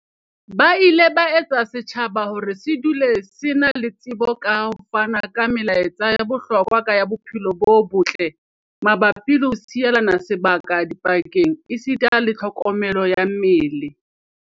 Ba ile ba etsa hore setjhaba se dule se na le tsebo ka ho fana ka melaetsa ya bohlokwa ya bophelo bo botle mabapi le ho sielana sebaka dipakeng esita le tlho komelo ya mmele.